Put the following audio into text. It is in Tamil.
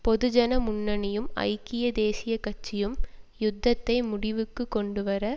பொது ஜன முன்னணியும் ஐக்கிய தேசிய கட்சியும் யுத்தத்தை முடிவுக்கு கொண்டு வர